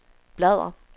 bladr